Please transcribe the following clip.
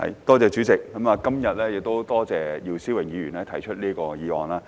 代理主席，我今天感謝姚思榮議員提出這項議案。